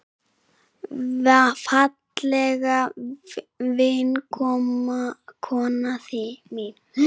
Fallega vinkona mín.